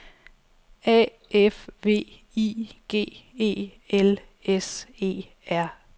A F V I G E L S E R